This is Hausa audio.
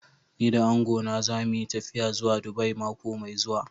Ni da angona za mu yi tafiya zuwa Dubai mako mai zuwa.